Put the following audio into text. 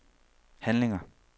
handlinger